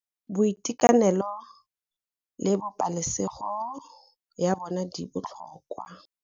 Boitekanelo le pabalesego ya bona di botlhokwa.